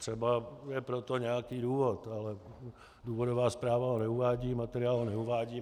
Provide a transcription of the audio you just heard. Třeba je pro to nějaký důvod, ale důvodová zpráva ho neuvádí, materiál ho neuvádí.